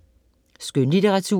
Skønlitteratur